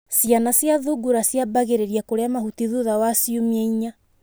Ciana cia thungura ciambagĩrĩria kũrĩa mahuti thutha wa ciumia inya.